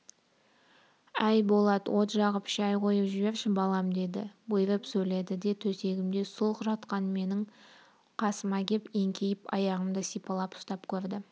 әй болат от жағып шай қойып жіберші балам деді бұйырып сөйдеді де төсегімде сұлқ жатқан менің қасыма кеп еңкейіп аяғымды сипалап ұстап көрді